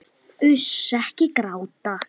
Uss, ekki gráta.